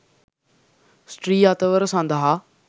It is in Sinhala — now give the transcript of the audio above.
ස්ත්‍රී අතවර සඳහා